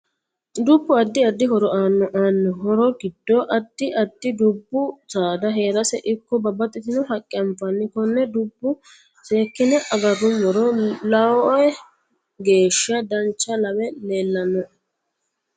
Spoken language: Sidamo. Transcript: Dubbu addi addi horo aanno aanno horo giddo addi addi dubbu saada heerasi ikko babbaxitino haqqe anfanni konne dubbu seekine agarumoro loeo geesha dancha lawe leelanoe